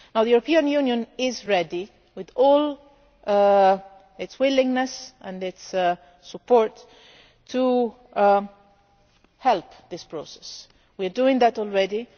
The European Union is ready, with all its willingness and its support, to help this process. We are doing that already.